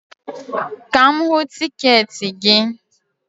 Ka m hụ tiketi gị